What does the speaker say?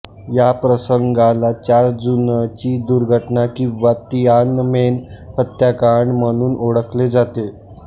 या प्रसंगाला चार जूनची दुर्घटना किंवा तिआनमेन हत्याकांड म्हणून ओळखले जाते